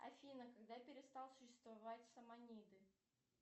афина когда перестал существовать самониды